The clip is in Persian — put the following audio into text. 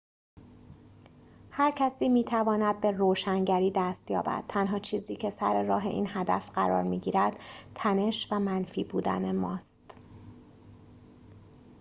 هر کسی می‌تواند به روشنگری دست یابد تنها چیزی که سر راه این هدف قرار می‌گیرد تنش و منفی بودن ماست